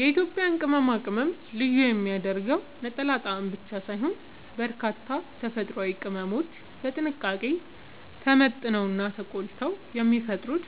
የኢትዮጵያን ቅመማ ቅመም ልዩ የሚያደርገው ነጠላ ጣዕም ብቻ ሳይሆን፣ በርካታ ተፈጥሯዊ ቅመሞች በጥንቃቄ ተመጥነውና ተቆልተው የሚፈጥሩት